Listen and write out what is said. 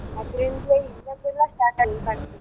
ಅದ್ರಿಂದ್ಲೇ ಇವಾಗೆಲ್ಲ start ಆಗಿದೆ .